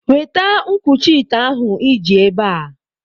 Weta nkwuchi ite ahụ iji ebe a!